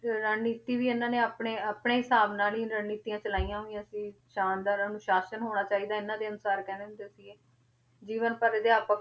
ਰਣਨੀਤੀ ਵੀ ਇਹਨਾਂ ਨੇ ਆਪਣੇ ਆਪਣੇ ਹਿਸਾਬ ਨਾਲ ਹੀ ਰਣਨੀਤੀਆਂ ਚਲਾਈਆਂ ਹੋਈਆਂ ਸੀ, ਸ਼ਾਨਦਾਰ ਅਨੁਸਾਸਨ ਹੋਣਾ ਚਾਹੀਦਾ ਹੈ, ਇਹਨਾਂ ਦੇ ਅਨੁਸਾਰ ਕਹਿੰਦੇ ਹੁੰਦੇ ਸੀਗੇ, ਜੀਵਨ ਭਰ ਅਧਿਆਪਕ